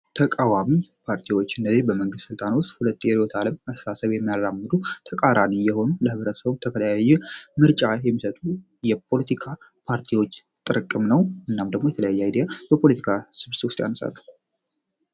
ተቃዋሚ ፓርቲዎች እነዚህ በመንግስት ሥልታን ውስጥ ሁለት የርዎት ዓለም እሳሰብ የሚያላሙዱ ተቃራኒ የሆኑ ለህብረሰውም ተከለያየ ምርጫ የሚሰቱ የፖለቲካ ፓርቲዎች ጥርቅም ነው። እናም ደሞ የተለያያ አይዲያ በፖለቲካ ስብብስብ ያነሳሉ።